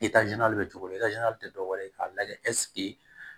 bɛ cogo min tɛ dɔwɛrɛ ye k'a lajɛ ɛseke